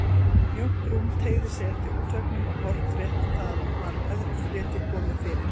Mjótt rúm teygði sig eftir útveggnum og hornrétt við það var öðru fleti komið fyrir.